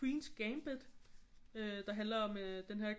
Queen's Gambit øh der handler om øh denne her